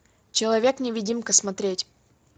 человек невидимка смотреть